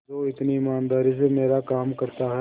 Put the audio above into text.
जो इतनी ईमानदारी से मेरा काम करता है